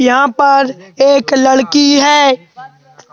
यहां पर एक लड़की है।